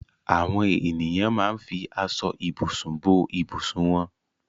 Àwọn ènìyàn máa ń fi aṣọ-ìbùsùn bo ìbùsùn wọn.